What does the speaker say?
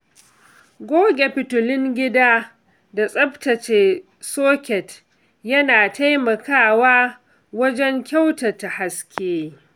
Goge fitilun gida da tsaftace soket yana taimakawa wajen kyautata haske.